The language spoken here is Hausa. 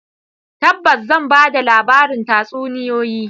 Tabbas zan ba da labarin tatsuniyoyi.